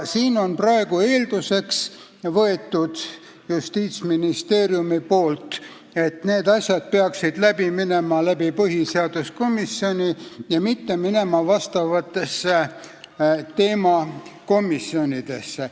Siin on praegu Justiitsministeerium eelduseks võtnud, et need asjad peaksid minema põhiseaduskomisjoni, mitte minema vastavatesse teemakomisjonidesse.